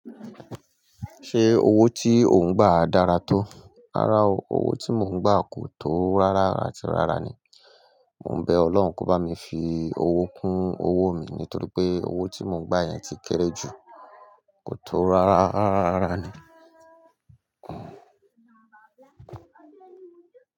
Ṣé owó tí ò ń gbà dára tó? Rárá o, owó tí mò ń gbà kò tó rárá ara tí rárá ni. Mo ń bẹ Ọlọ́hun kó bá mi fi owó kún owó mi nítorí pé owó tí mò ń gbà yẹn ti kéré jù, kò tó rárá rara rara ni.